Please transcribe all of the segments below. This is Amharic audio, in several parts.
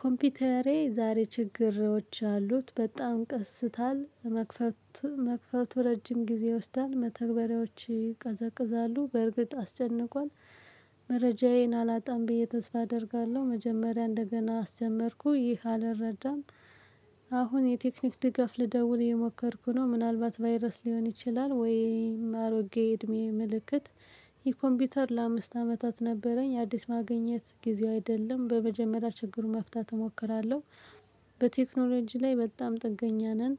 ኮምፒውተሬ ዛሬ ችግሮች አሉት በጣም ቀስታል መክፈቱ መክፈቱ ረጅም ጊዜ ወስዳል መተግበሪያዎች ይቀዘቅዛሉ በእርግጥ አስጨንቋል። መረጃዬን አላጣም ብዬ ተስፋ አደርጋለሁ መጀመሪያ እንደገና አስጀመርኩ ይህ አልረዳም። አሁን የቴክኒክ ድጋፍ ልደውል የሞከርኩ ነው ምናልባት ቫይረስ ሊሆን ይችላል ወይ አሮጌ እድሜ ምልክት። ይሄ ኮምፒውተር ለአምስት አመታት ነበረኝ አዲስ ማግኘት ጊዜው አይደለም በመጀመሪያ ችግሩን መፍታት እሞክራለሁ። በቴክኖሎጂ ላይ በጣም ጥገኛ ነን።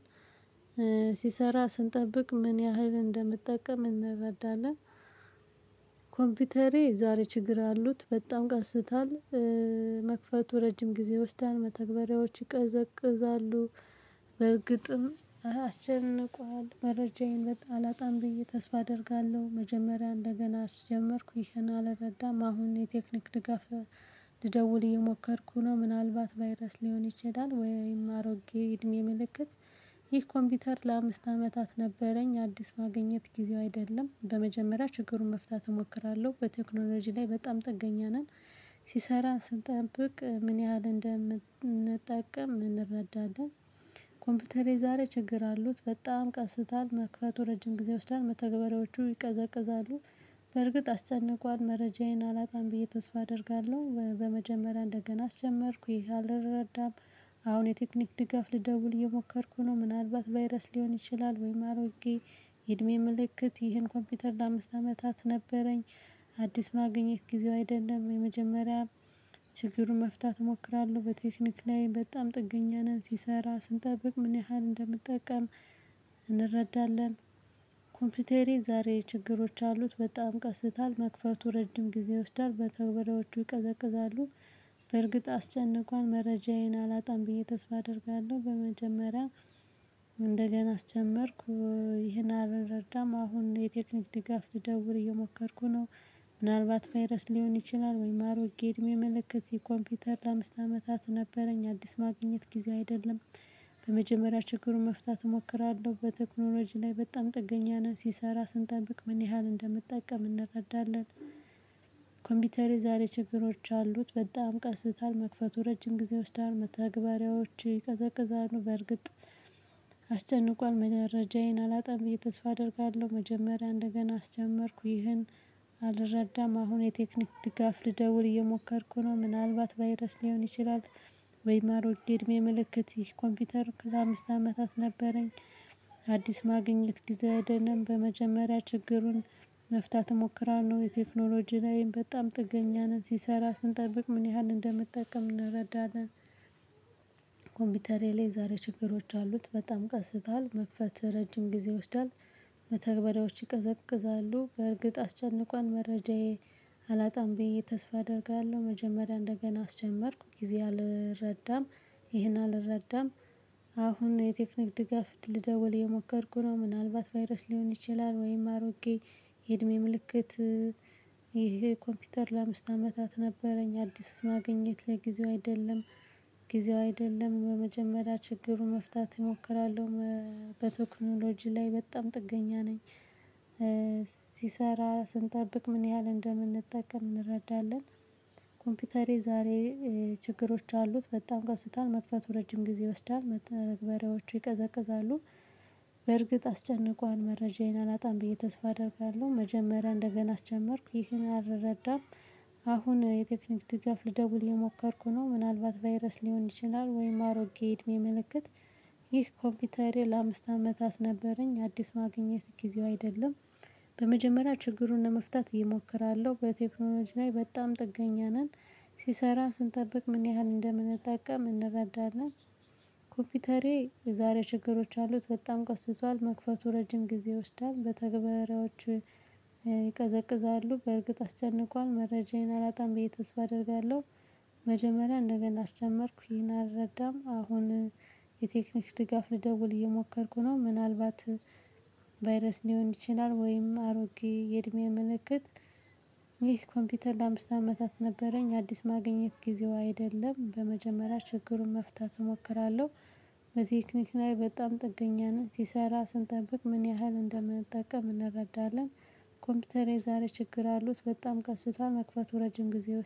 ሲሰራ ስንጠብቅ ምን ያህል እንደምጠቀም እንረዳለን። ኮምፒውተሬ ዛሬ ችግር አሉት በጣም ቀስታል። መክፈቱ ረጅም ጊዜ ይወስዳል መተግበሪያዎችን ይቀዘቅዛሉ። በርግጥም አስጨንቋል መረጃዬን በጣ አላጣም ብዬ ተስፋ አደርጋለሁ። መጀመሪያ እንደገና አስጀመርኩ ይሄን አልረዳም። አሁን የቴክኒክ ድጋፍ። ልደውል እየሞከርኩ ነው ምናልባት ቫይረስ ሊሆን ይችላል ወይም አሮጌ እድሜ ምልክት። ይህ ኮምፒውተር ለአምስት አመታት ነበረኝ አዲስ ማግኘት ጊዜው አይደለም በመጀመሪያ ችግሩን መፍታት እሞክራለሁ። በቴክኖሎጂ ላይ በጣም ጥገኛ ነን። ሲሰራ ስንጠብቅ ምን ያህል እንደምንጠቀም እንረዳለን። ኮምፒውተሬ ዛሬ ችግር አሉት በጣም ቀስታል መክፈቱ ረጅም ጊዜ ይወስዳል መተግበሪያዎቹ ይቀዘቅዛሉ። በርግጥ አስጨንቋል መረጃዬን አላጣም ብዬ ተስፋ አደርጋለሁ በመጀመሪያ እንደገና አስጀመርኩ ይሄ አልረዳም። አሁን የቴክኒክ ድጋፍ ልደውል እየሞከርኩ ነው። ምናልባት ቫይረስ ሊሆን ይችላል ወይም አሮጌ እድሜ ምልክት። ይህን ኮምፒውተር ለአምስት አመታት ነበረኝ። አዲስ ማግኘት ጊዜው አይደለም የመጀመሪያ ችግሩን መፍታት እሞክራለሁ። በቴክኒክ ላይ በጣም ጥገኛ ነን ሲሰራ ስንጠብቅ ምን ያህል እንደምንጠቀም እንረዳለን። ኮምፒተሬ ዛሬ ችግሮች አሉት በጣም ቀስቷል መክፈቱ ረጅም ጊዜ ይወስዳል በተወላወጁ ይቀዘቅዛሉ። በርግጥ አስጨነቆኝ መረጃዬን አላጣም ብዬ ተስፋ አደርጋለሁ በመጀመሪያ እንደገና አስጀመርኩ ይሄን አልርዳም አሁን የቴክኒክ ድጋፍ ልደውል እየሞከርኩ ነው። ምናልባት ቫይረስ ሊሆን ይችላል ወይ አሮጌ እድሜ ምልክት። ይህ ኮምፒተር ለአምስት አመታት ነበረኝ አዲስ ማግኘት ጊዜው አይደለም። በመጀመሪያ ችግሩን መፍታት እሞክራለሁ በቴክኖሎጂ ላይ በጣም ጥገኛ ነን ሲሰራ ስንጠብቅ ምን ያህል እንደምንጠቀም እንረዳለን። ኮምፒተሬ ዛሬ ችግሮች አሉት በጣም ቀስታል መክፈቱ ረጅም ጊዜ ይወስዳል መተግበሪያዎች ይቀዘቅዛሉ በእርግጥ። አስጨንቅ መረጃዬን አላጣም ብዬ ተስፋ አደርጋለሁ መጀመሪያ እንደገና አስጀመርኩ ይህን አልረዳም። አሁን የቴክኒክ ድጋፍ ልደውል እየሞከርኩ ነው ምናልባት ቫይረስ ሊሆን ይችላል። ወይም አሮጌ እድሜ ምልክት። ይህ ኮምፒተር ለአምስት አመታት ነበረኝ። አዲስ ማግኘት ጊዜው አይደለም በመጀመሪያ ችግሩን መፍታት እሞክራለሁ። የቴክኖሎጂ ላይም በጣም ጥገኛ ነን ሲሰራ ስንጠብቅ ምን ያህል እንደምንጠቀም እንረዳለን። ኮምፒተሬ ላይ ዛሬ ችግሮች አሉት በጣም ቀስቷል መክፈት ረጅም ጊዜ ይወስዳል። መተግበሪያዎች ይቀዘቅዛሉ በእርግጥ አስጨንቋን። መረጃዬ አላጣም ብዬ ተስፋ አደርጋለሁ መጀመሪያ እንደገና አስጀመርኩ ጊዜ አልረዳም። ይሄን አልረዳም። አሁን የቴክኒክ ድጋፍ ልደውል እየሞከርኩ ነው። ምናልባት ቫይረስ ሊሆን ይችላል ወይም አሮጌ የእድሜ ምልክት። ይሄ ኮምፒተር ለአምስት አመታት ነበረኝ አዲስ ማግኘት ጊዜው አይደለም። ጊዜው አይደለም በመጀመሪያ ችግሩን መፍታት እሞክራለሁ። በቴክኖሎጂ ላይ በጣም ጥገኛ ነኝ። ሲሰራ ስንጠብቅ ምን ያህል እንደምንጠቀም እንረዳለን። ኮምፒተሬ ዛሬ ችግሮች አሉት በጣም ቀስቷል መጥክፈቱ ረጅም ጊዜ ይወስዳል መተግበሪያዎቹ ይቀዘቅዛሉ። በርግጥ አስጨንቋን መረጃዬን አላጣም ብዬ ተስፋ አደርጋለሁ መጀመሪያ እንደገና አስጀመርኩ ይህን አልረዳም። አሁን የቴክኒክ ድጋፍ ልደውል እየሞከርኩ ነው። ምናልባት ቫይረስ ሊሆን ይችላል ወይም አሮጌ እድሜ ምልክት። ይህ ኮምፒተሬ ለአምስት አመታት ነበረኝ አዲስ ማግኘት ጊዜው አይደለም። በመጀመሪያ ችግሩን ለመፍታት እሞክራለሁ። በቴክኖሎጂ ላይ በጣም ጥገኛ ነን። ሲሰራ ስንጠብቅ ምን ያህል እንደምንጠቀም እንረዳናለን። ኮምፒተሬ የዛሬ ችግሮች አሉት በጣም ቀስቷል መክፈቱ ረጅም ጊዜ ይወስዳል መተግባራዎቹ ይቀዘቅዛሉ። በእርግጥ አስጨንቋል መረጃዬን አላጣም ብዬ ተስፋ አደርጋለሁ። መጀመሪያ እንደገና አስጀመርኩ ይሄን አልረዳም። አሁን የቴክኒክ ድጋፍ ልደውል እየሞከርኩ ነው ምናልባት ቫይረስ ሊሆን ይችላል ወይም አሮጌ የእድሜ ምልክት። ይህ ኮምፒተር ለአምስት አመታት ነበረኝ። አዲስ ማግኘት ጊዜው አይደለም በመጀመሪያ ችግሩን መፍታት እሞክራለሁ። በቴክኒክ ላይ በጣም ጥገኛ ነን ሲሰራ ስንጠብቅ ምን ያህል እንደምንጠቀም እንረዳለን። ኮምፒተሬ ዛሬ ችግር አሉት በጣም ቀስቷል መክፈቱ ረጅም ጊዜ